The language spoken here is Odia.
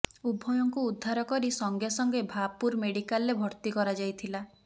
ଉଭୟଙ୍କୁ ଉଦ୍ଧାର କରି ସଙ୍ଗେ ସଙ୍ଗେ ଭାପୁର ମେଡିକାଲରେ ଭର୍ତ୍ତି କରାଯାଇଥିଲା